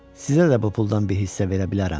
Sizə də bu puldan bir hissə verə bilərəm.